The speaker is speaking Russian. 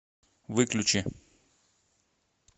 выключи